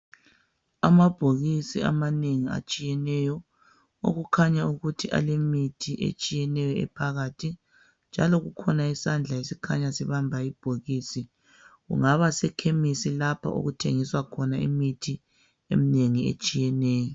Amabhokisi amanengi atshiyeneyo okukhanya ukuthi alemithi etshiyeneyo ephakathi njalo kukhona isandla esikhanya sibamba ibhokisi, kungaba sekhemisi lapho okuthengiswa khona imithi eminengi etshiyeneyo.